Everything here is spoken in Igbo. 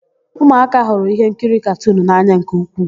Ụmụaka hụrụ íhénkiri katunu n'anya nke ukwuu.